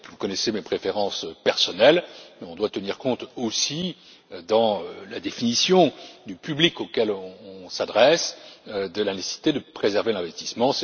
Vous connaissez mes préférences personnelles, mais on doit tenir compte aussi, dans la définition du public auquel on s'adresse, de la nécessité de préserver l'investissement.